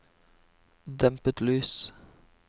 dempet lys